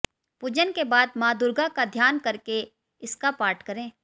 पूजन के बाद मां दुर्गा का ध्यान करके इसका पाठ करें